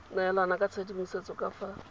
neelana ka tshedimosetso ka fa